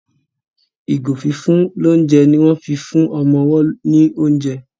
ìgò fífún l'ounjẹ ní wón fín fún ọmọ ọwo ní oúnjẹ.